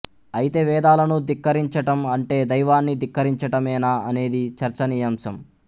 అయితే వేదాలను ధిక్కరించటం అంటే దైవాన్ని ధిక్కరించటమేనా అనేది చర్చనీయాంశం